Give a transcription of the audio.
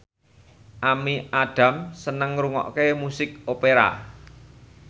Amy Adams seneng ngrungokne musik opera